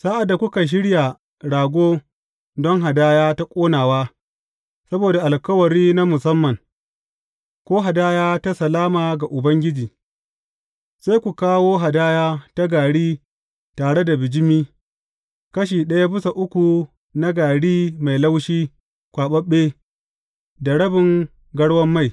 Sa’ad da kuka shirya rago don hadaya ta ƙonawa saboda alkawari na musamman, ko hadaya ta salama ga Ubangiji, sai ku kawo hadaya ta gari tare da bijimi, kashi ɗaya bisa uku na gari mai laushi kwaɓaɓɓe da rabin garwan mai.